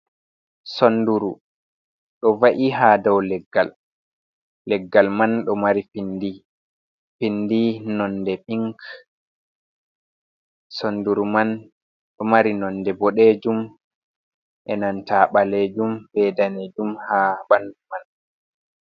Sonduru do va’i ha dou leggal. Leggal man pindi nonde pink, sonduru man do mari nonde bodejum e nanta balejum be danejum ha bandu man.